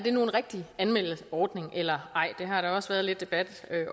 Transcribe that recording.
en rigtig anmeldeordning eller ej det har der også været lidt debat